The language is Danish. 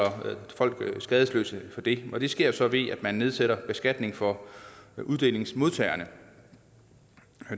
skadesløse for det og det sker så ved at man nedsætter beskatningen for uddelingsmodtagerne